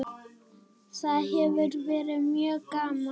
Það hefur verið mjög gaman.